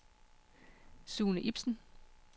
Sune Ipsen